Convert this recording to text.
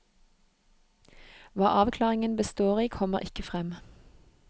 Hva avklaringen består i, kommer ikke frem.